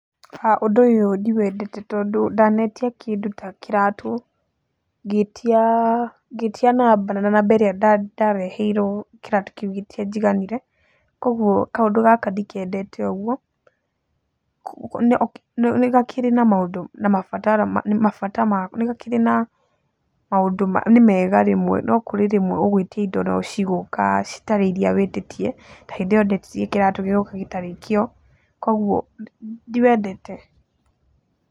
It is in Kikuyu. Ha ũndũ ũyũ ndiwendete tondũ ndanetia kĩndũ ta kĩratũ, ngĩtia namba na namba ĩrĩa ndareheirwo kĩratũ kĩu gĩtianjiganire, kuũguo kaũndu gaka ndikendete ũguo, nĩ gakĩrĩ na maũndũ na mabata magwo, nĩ gakĩrĩ na maũndũ nĩ mega rĩmwe no kũrĩ rĩmwe ũgũĩtia indo no cigũũka citarĩ iria wĩtĩtie, ta hĩndĩ ĩyo ndetirie kĩratũ gĩgoka gĩtarĩ kĩo kuũguo ndiwendete.